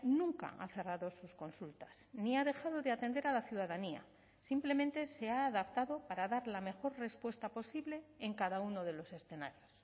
nunca ha cerrado sus consultas ni ha dejado de atender a la ciudadanía simplemente se ha adaptado para dar la mejor respuesta posible en cada uno de los escenarios